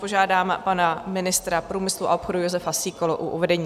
Požádám pana ministra průmyslu a obchodu Jozefa Síkelu o uvedení.